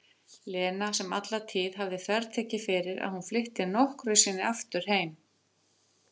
Lena sem alla tíð hafði þvertekið fyrir að hún flytti nokkru sinni aftur heim.